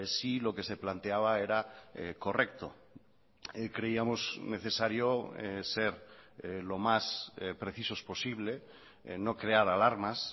si lo que se planteaba era correcto creíamos necesario ser lo más precisos posible no crear alarmas